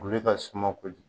ka suma ko